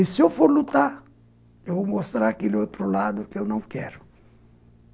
E se eu for lutar, eu vou mostrar aquele outro lado que eu não quero.